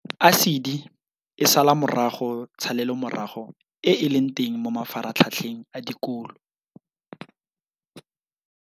ASIDI e sala morago tshalelomorago e e leng teng mo mafaratlhatlheng a dikolo.